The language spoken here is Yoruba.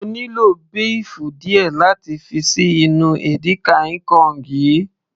mo nílò béèfù díẹ̀ láti fi ṣí inú edika-ekong yìí